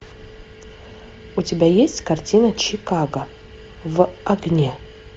у тебя есть картина чикаго в огне